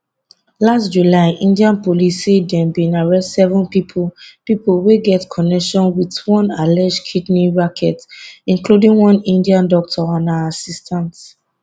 last july india police say dem bin arrest seven pipo pipo wey get connection wit one alleged kidney racket including one india doctor and her assistant